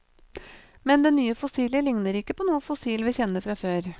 Men det nye fossilet ligner ikke på noe fossil vi kjenner fra før.